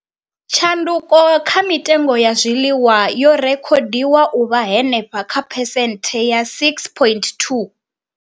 Tshanduko kha mitengo ya zwiḽiwa yo rekhodiwa u vha henefha kha phesenthe dza 6.2.